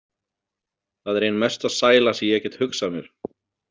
Það er ein mesta sæla sem ég get hugsað mér.